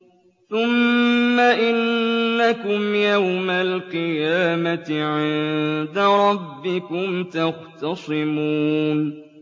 ثُمَّ إِنَّكُمْ يَوْمَ الْقِيَامَةِ عِندَ رَبِّكُمْ تَخْتَصِمُونَ